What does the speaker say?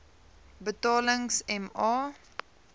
betalings m a